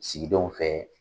sigidenw fɛ